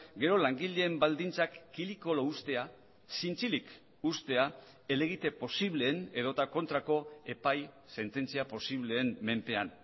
gero langileen baldintzak kili kolo uztea zintzilik uztea helegite posibleen edota kontrako epai sententzia posibleen menpean